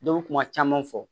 Dɔw bɛ kuma caman fɔ